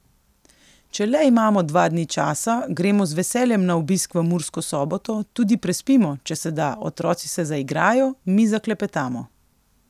Če le imamo dva dni časa, gremo z veseljem na obisk v Mursko Soboto, tudi prespimo, če se da, otroci se zaigrajo, mi zaklepetamo.